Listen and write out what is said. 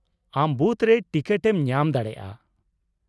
ᱟᱢ ᱵᱩᱛᱷ ᱨᱮ ᱴᱤᱠᱤᱴ ᱮᱢ ᱧᱟᱢ ᱫᱟᱲᱮᱭᱟᱜᱼᱟ ᱾